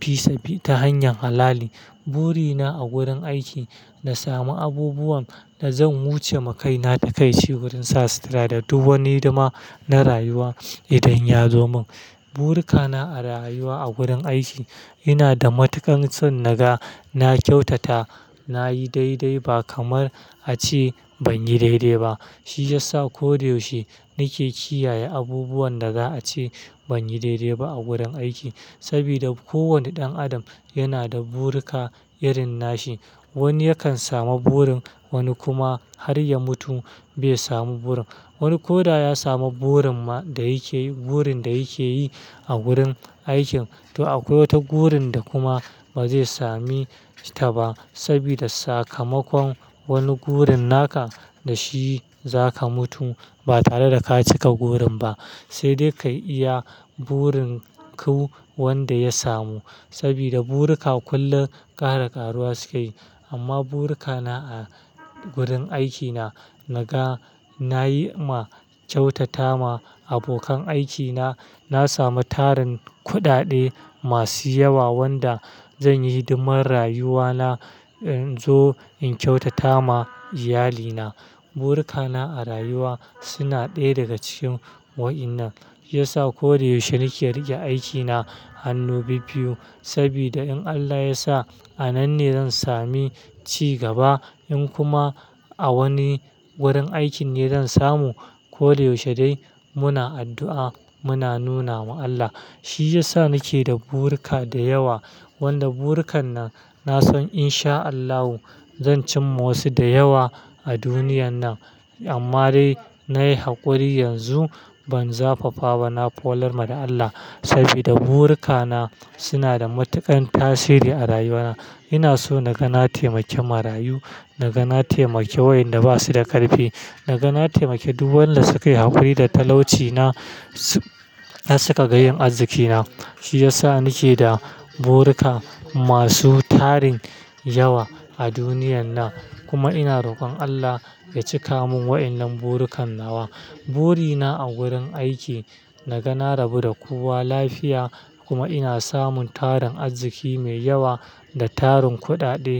fi sabi ta hanyar halali. Buri na a gurin aiki na sami abubuwan da zan wuce makai na takaici wurin sa sutura da duk wani hidima na rayuwa idan ya zo mun. Burika na a rayuwa a gurin aiki ina da matuƙan son naga. Na kyautata, na yi daidai ba kamar ace ban yi daidai ba. Shi ya sa ko da yaushe nake kiyaye abubuwan da za a ce ban yi daidai ba a gurin aiki sabida kowane ɗan adam yana da burika irin nashi. Wani yakan samu burin, wani kuma har ya mutu bai samu burin. Wani ko da ya samu burin ma da yake burin da yake yi a gurin aikin to akwai wata burin da kuma ba zai sami ta ba sabida sakamakon wani burin naka da shi zaka mutu ba tare da ka cika burin ba. Sai dai kayi iya burin ku wanda ya samu sabida burika kullum kara karuwa suke yi. Amma burika na a gurin aikina naga nayi ma kyautata ma abokan aikina. Na samu tarin kuɗaɗe masu yawa wanda zan yi hidiman rayuwana in zo in kyautata ma iyalina. Burika na a rayuwa suna ɗaya daga cikin wa'innan. Shiyasa ko da yaushe nake riƙe aikina hannu biyu-biyu sabida in Allah ya sa a nan ne zan sami ci gaba. In kuma a wani wurin aikin ne zan samu ko da yaushe dai muna addu'a muna nuna ma Allah. Shi ya sa nake da burika da yawa wanda burikan nan na san in sha Allahu zan cimma wasu da yawa a duniyan nan. Amma dai na yi haƙuri yanzu ban zafafa ba na folarma da Allah sabida burika na suna da matuƙan tasiri a rayuwa na. Ina so naga na taimake marayu, naga na taimake waƴanda ba su da ƙarfi, naga na taimake duk wanda suka yi haƙuri da talaucina har suka ga yin azikina. Shi ya sa nake da burika masu tarin yawa a duniyan nan kuma ina rokon Allah ya cika mun wa'inan burikan nawa. Buri na a wurin aiki naga na rabu da kowa lafiya kuma ina samun tarin arziki mai yawa da tarin kuɗaɗe.